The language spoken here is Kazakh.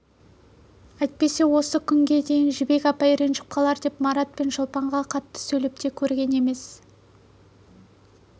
әйтпесе осы күнге дейін жібек апай ренжіп қалар деп марат пен шолпанға қатты сөйлеп те көрген емес